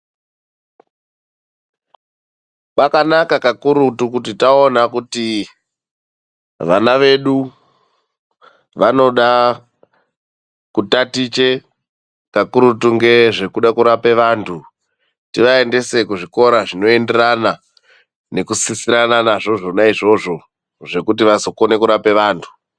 Kwakanaka kakurutu kuti kana taona kuti vana vedu vanoda kutaticha kakurutu ngezve kuda kurapa vantu, tivaendese kuzvikora zvinoenderana nekusisirana nazvo zvona izvozvo zvekuti vazokona kurapa vantu.